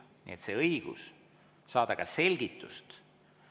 " Nii et on õigus saada ka selgitust.